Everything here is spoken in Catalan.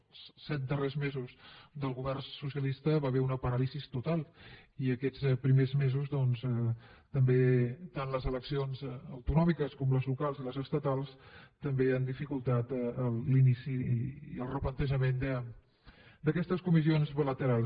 als set darrers mesos del govern socialista hi va haver una paràlisi total i aquests primers mesos doncs tant les eleccions autonòmiques com les locals i les estatals també han dificultat l’inici i el replantejament d’aquestes comissions bilaterals